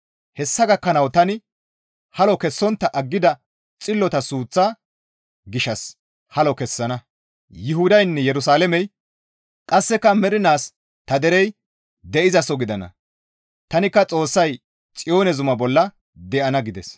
Hessa gakkanawu tani halo kessontta aggida xillota suuththa gishshas halo kessana; Yuhudaynne Yerusalaamey qasse mernaas ta derey de7izaso gidana; tanikka Xoossay Xiyoone zuma bolla de7ana» gides.